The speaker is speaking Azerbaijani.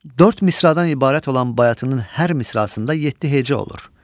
Dörd misradan ibarət olan bayatının hər misrasında yeddi heca olur.